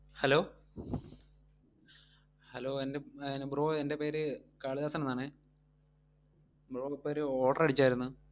hello hello എൻ്റെ പ്‌~ bro എൻ്റെ പേര് കാളിദാസൻ എന്നാണെ bro ഇപ്പൊ ഒരു order അടിച്ചായിരുന്നു.